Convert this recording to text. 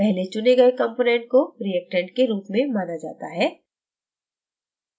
पहले चुने गए component को reactant के रूप में माना जाता है